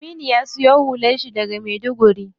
Aminu ya siyo hular shi daga maiduguri.